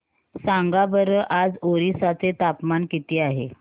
सांगा बरं आज ओरिसा चे तापमान किती आहे